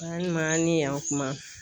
Ani ma a' ni yan kuma